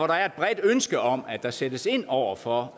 der er et bredt ønske om at der sættes ind over for